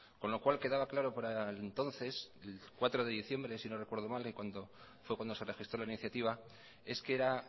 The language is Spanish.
con lo cual quedaba claro para entonces el cuatro de diciembre si no recuerdo mal que fue cuando se registró la iniciativa es que era